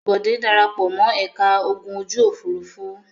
Bòdé dara pọ̀ mọ́ ẹ̀ka ogun ojú-òfurufú.